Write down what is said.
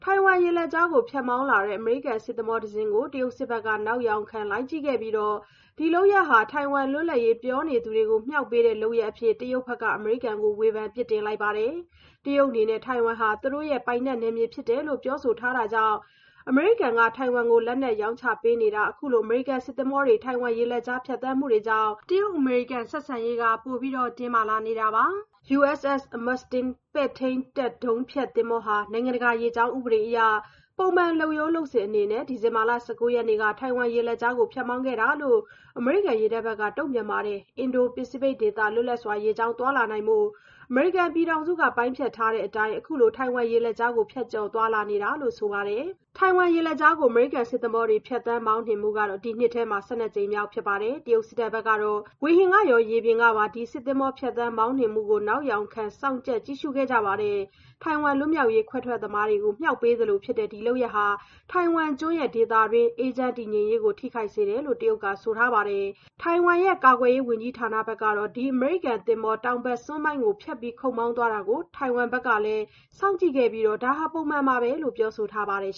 ိုင်ဝမ်ရေလက်ကြား ဖြတ်မောင်းလာတဲ့ အမေရိကန် စစ်သင်္ဘောတစင်းကို တရုတ်စစ်ဘက်က နောက်ယောက်ခံ လိုက်ကြည့်ခဲ့ပြီး ဒီလုပ်ရပ်ဟာ ထိုင်ဝမ်လွတ်လပ်ရေး ပြောနေသူတွေကို မြှောက်ပေးတဲ့လုပ်ရပ်အဖြစ် တရုတ်ဘက်က အမေရိကန်ကို ဝေဖန်အပြစ်တင်ခဲ့ပါတယ်။ တရုတ်အနေနဲ့ ထိုင်ဝမ်ဟာ သူတို့ပိုင်နက်နယ်မြေ ဖြစ်တယ်လို့ ပြောဆိုထားတာကြောင့် အမေရိကန်က ထိုင်ဝမ်ကို လက်နက်ရောင်းချပေးတာ၊ အခုလို အမေရိကန် စစ်သင်္ဘောတွေ ထိုင်ဝမ်ရေလက်ကြား ဖြတ်သန်းမှုတွေကြောင့် တရုတ်-အမေရိကန် နှစ်နိုင်ငံဆက်ဆံရေး ပိုတင်းမာလာစေပါတယ်။ USS Mustin ပဲ့ထိန်းတပ် ဒုံးဖျက်သင်္ဘောဟာ နိုင်ငံတကာ ရေကြောင်းဥပဒေအရ ပုံမှန်လုပ်ရိုးလုပ်စဉ်အနေနဲ့ ဒီဇင်ဘာလ ၁၉ ရက်နေ့က ထိုင်ဝမ်ရေလက်ကြားကို ဖြတ်မောင်းခဲ့တာ ဖြစ်တယ်လို့ အမေရိကန်ရေတပ်ဘက်က တုံ့ပြန်ပါတယ်။ အင်ဒို-ပစိဖိတ်ဒေသ လွတ်လပ်စွာ ရေကြောင်းသွားလာနိုင်ဖို့ အမေရိကန်ပြည်ထောင်စုက ပိုင်းဖြတ်ထားတဲ့အတိုင်း အခုလို ထိုင်ဝမ်ရေလက်ကြားကို ဖြတ်ကျော်သွားလာတာဖြစ်တယ်လို့ ဆိုပါတယ်။ ထိုင်ဝမ်ရေလက်ကြားကို အမေရိကန်စစ်သင်္ဘောတွေ ဖြတ်သန်းမောင်းနှင်မှုကတော့ ဒီနှစ်ထဲ ၁၂ ကြိမ်မြောက်ဖြစ်ပါတယ်။ တရုတ်စစ်ဘက်ကတော့ ဝေဟင်ကရော ရေပြင်ကပါ ဒီစစ်သင်္ဘော ဖြတ်သန်းမောင်းနှင်မှုကို နောက်ယောင်ခံ စောင့်ကြပ်ကြည့်ရှုခဲ့ကြတယ်လို့ ဆိုပါတယ်။ ထိုင်ဝမ်လွတ်မြောက်ရေး ခွဲထွက်သမားတွေကို မြှောက်ပေးသလိုဖြစ်တဲ့ ဒီလုပ်ရပ်ဟာ ထိုင်ဝမ်ကျွန်းရဲ့ ဒေသတွင်း အေးချမ်းတည်ငြိမ်ရေးကို ထိခိုက်စေတယ်လို့ တရုတ်ဘက်က ဆိုထားပါတယ်။ ထိုင်ဝမ်ရဲ့ ကာကွယ်ရေးဝန်ကြီးဌာနဘက်ကတော့ ဒီအမေရိကန်သင်္ဘော တောင်ဘက်စွန်းပိုင်းကို ဖြတ်ခုတ်မောင်းသွားတာ ထိုင်ဝမ်ဘက်ကလည်း စောင့်ကြည့်ခဲ့ပြီး ဒါဟာ ပုံမှန်ပါပဲလို့ ပြောဆိုထားပါတယ်